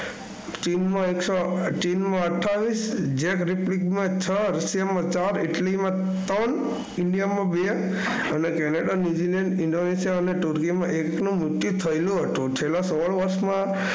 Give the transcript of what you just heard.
ચીનમાં એકસો ચીનનાં અઠયાવીસ જેટરિપીટમાં છ, રશિયામાં ચાર, ઇટલીમાં ત્રણ, ઇન્ડિયામાં બે અને કેનેડા, ન્યુઝિલેન્ડ, ઈન્ડોનેશિયા અને તુર્કીમાં એકનું મૃત્યુ થયું હતું. છેલ્લા સોળ વર્ષમાં